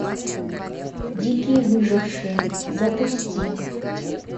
дикие выжившие запусти